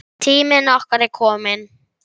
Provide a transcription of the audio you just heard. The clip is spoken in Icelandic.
Tími okkar er kominn.